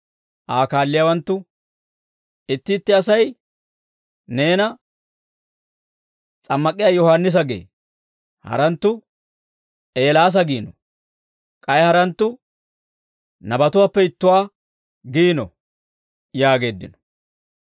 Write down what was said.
Aa kaalliyaawanttu, «Itti itti Asay neena, ‹S'ammak'iyaa Yohaannisa› gee; haranttu, ‹Eelaasa› giino; k'ay haranttu, ‹Nabatuwaappe ittuwaa› giino» yaageeddino.